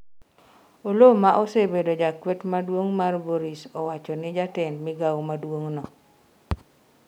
Oloo ma osebedo jakwet maduong' mar Boris owachoni jatend migao maduong'no